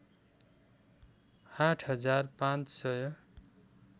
आठ हजार पाँच सय